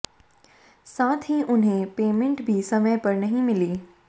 साथ ही उन्हें पेमेंट भी समय पर नहीं मिली